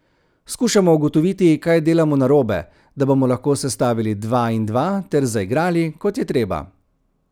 Skušamo ugotoviti, kaj delamo narobe, da bomo lahko sestavili dva in dva ter zaigrali, kot je treba.